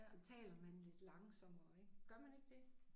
Så taler man lidt langsommere ik gør man ikke det?